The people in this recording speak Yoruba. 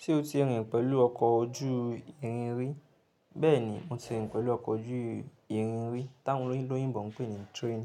Ṣé o ti rìn pẹ̀lú ọkọ̀ ojú irin rí? Bẹ́ẹ̀ni, mo ti rìn pẹ̀lú ọkọ̀ ojú irin rí, táwọn olóyìnbó ń pè ní train.